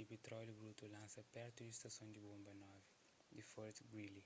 y pitróliu brutu lansa pertu di stason di bonba 9 di fort greely